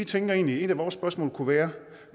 tænker egentlig at et af vores spørgsmål kunne være